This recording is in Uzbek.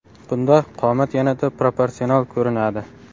Bunda qomat yanada proportsional ko‘rinadi.